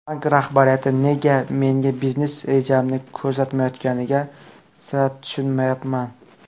Bank rahbariyati nega menga biznes rejamni ko‘rsatmayotganiga sira tushunmayapman.